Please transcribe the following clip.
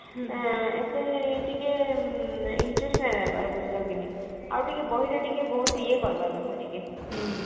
ଏତେ ଟିକେ interested ହେବାର ବୁଝିଲ କି ନାଇ ଆଉ ଟିକେ ବହିରେ ଟିକେ ବହୁତ ଇଏ କରିବା କଥା ଟିକେ